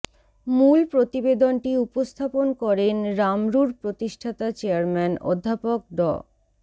মূল প্রতিবেদনটি উপস্থাপন করেন রামরুর প্রতিষ্ঠাতা চেয়ারম্যান অধ্যাপক ড